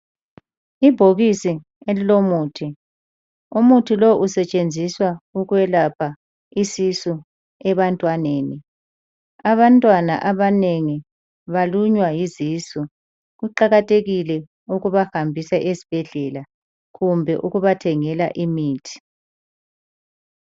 Ibhokisi elilomuthi, umuthi lo usetshenziswa ukwelapha isisu ebantwaneni. Abantwana abanengi balunywa yizisu kuqakathekile ukubahambisa esibhedlela kumbe ukubathengela imithi.